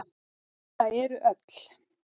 Það eru öll.